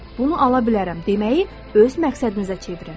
Bunu ala bilərəm deməyi öz məqsədinizə çevirin.